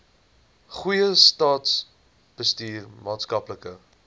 goeie staatsbestuur maatskaplike